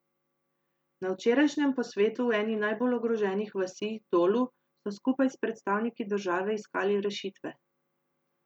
Na včerajšnjem posvetu v eni najbolj ogroženih vasi, Dolu, so skupaj s predstavniki države iskali rešitve.